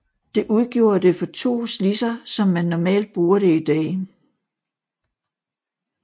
Det udgjorde det for to slidser som man normalt bruger det i dag